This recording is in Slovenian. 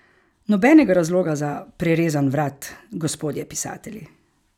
Nobenega razloga za prerezan vrat, gospodje pisatelji!